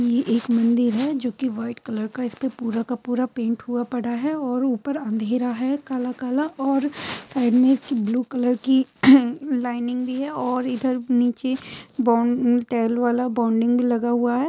ये एक मंदिर है जो कि व्हाइट कलर का है इसपे पूरा का पूरा पैंट हुआ पड़ा है और ऊपर अंधेरा है काला काला और साइड में एक ब्लू कलर की लाइनिंग भी है और इधर नीचे बोन तेल वाला बाउंडिंग भी लगा हुआ है।